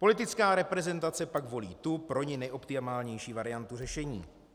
Politická reprezentace pak volí tu pro ni nejoptimálnější variantu řešení.